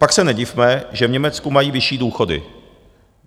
Pak se nedivme, že v Německu mají vyšší důchody.